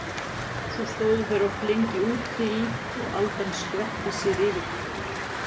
Svo stóðu þeir oft lengi út í og aldan skvetti sér yfir þá.